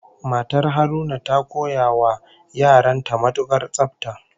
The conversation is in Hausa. Matar Haruna ta koya wa yaran ta matukar tsafta